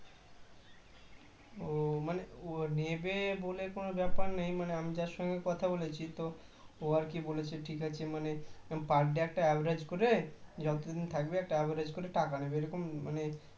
ও মানে ও নেবে বলে কোনও ব্যাপার নেই মানে আমি তার সঙ্গে কথা বলেছি তো ওর আর কি বলছে ঠিক আছে মানে per day একটা average করে যতদিন থাকবে একটা average করে টাকা নেবে এরকম মানে